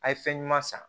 A' ye fɛn ɲuman san